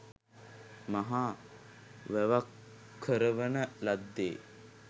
මහා වැවක් කරවන ලද්දේ